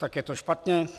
Tak je to špatně?